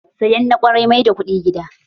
Sayan na kwarai mai da kuɗi gida